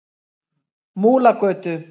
Múlagötu